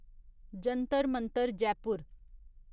Jantar Mantar Jaipur